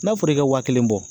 N'a fɔra e ka waa kelen bɔ